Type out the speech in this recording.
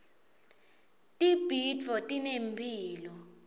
tibhidvo tinemphilo